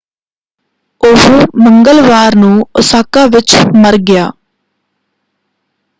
ਉਹ ਮੰਗਲਵਾਰ ਨੂੰ ਓਸਾਕਾ ਵਿੱਚ ਮਰ ਗਿਆ।